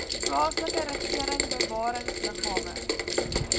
plaaslike regering bewaringsliggame